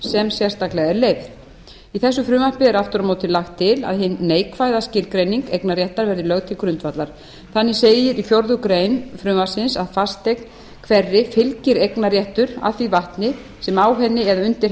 sem sérstaklega er leyfð í þessu frumvarpi er aftur á móti lagt til að hin neikvæða skilgreining eignarréttar verði lögð til grundvallar þannig segir í fjórða grein frumvarpsins að fasteign hverri fylgir eignarréttur að því vatni sem á henni eða undir